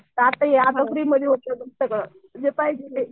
तर आता फ्रीमध्ये होतंय सगळं जे ते